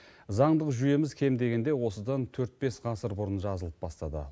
заңдық жүйеміз кем дегенде осыдан төрт бес ғасыр бұрын жазылып бастады